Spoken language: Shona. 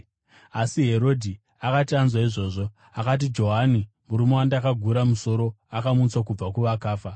Asi Herodhi akati anzwa izvozvo, akati, “Johani, murume wandakagura musoro, akamutswa kubva kuvakafa!”